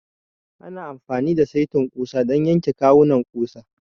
Ana amfani da saitin ƙusa don yanke kawunan ƙusa.